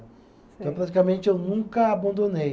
praticamente, eu nunca abandonei.